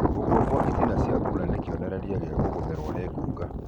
gũkũa gwa ĩtĩna cĩa thũũna nĩ kĩonererĩa kĩa kũgũmĩrũo nĩ ngũnga